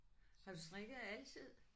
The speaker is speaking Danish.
Har du strikket altid?